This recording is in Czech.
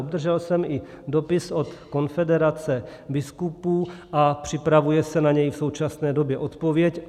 Obdržel jsem i dopis od konfederace biskupů a připravuje se na něj v současné době odpověď.